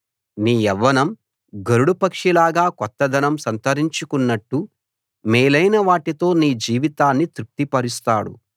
నీ యవ్వనం గరుడ పక్షిలాగా కొత్తదనం సంతరించుకున్నట్టు మేలైన వాటితో నీ జీవితాన్ని తృప్తిపరుస్తాడు